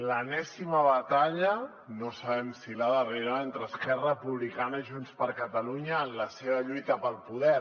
l’enèsima batalla no sabem si la darrera entre esquerra republicana i junts per catalunya en la seva lluita pel poder